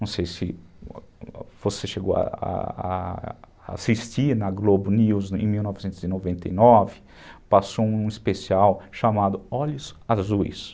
Não sei se você chegou a a assistir na Globo News em mil novecentos e noventa e nove, passou um especial chamado Olhos Azuis.